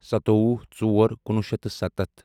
سَتووُہ ژور کُنوُہ شیٚتھ تہٕ سَتتھ